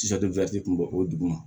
kun bɔ o dugu ma